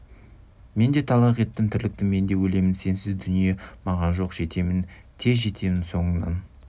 мен де талақ еттім тірлікті мен де өлемін сенсіз дүние маған жоқ жетемін тез жетемін соңыңнан